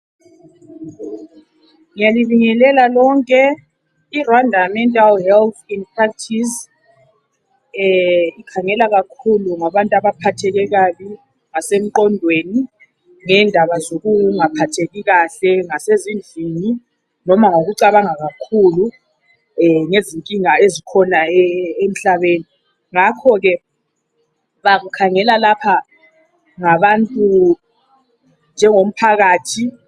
ngiyalibingelela lonke i rwanda mental health inpractice e khangela kakhulu ngabantu abaphatheke kabi ngase mqondweni ngendaba zokungaphatheki kahle ngasezindlini loba ngokucabanga kakhulu ngezinkinga ezikhona emhlabeni ngakho ke bakhangela lapha ngabantu nje ngomphakathi